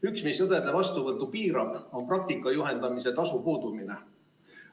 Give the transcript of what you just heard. Üks, mis õdede vastuvõttu piirab, on praktika juhendamise tasu puudumine.